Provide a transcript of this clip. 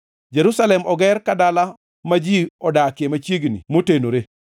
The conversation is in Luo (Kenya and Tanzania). Jerusalem oger ka dala ma ji odakie machiegni motenore.